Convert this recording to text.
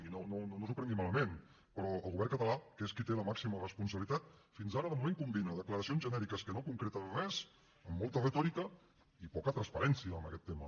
i no s’ho prengui malament però el govern català que és qui hi té la màxima responsabilitat fins ara de moment combina declaracions genèriques que no concreten res amb molta retòrica i poca transparència en aquest tema